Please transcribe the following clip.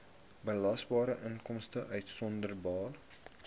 belasbare inkomste uitgesonderd